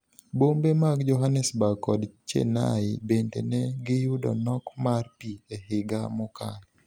Bombe mag Johannesburg kod Chennai bende ne giyudo nok mar pi e higa mokalo.